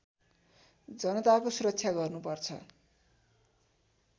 जनताको सुरक्षा गर्नुपर्छ